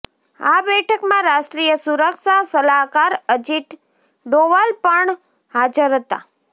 આ બેઠકમાં રાષ્ટ્રીય સુરક્ષા સલાહકાર અજીત ડોવાલ પણ હાજર હતા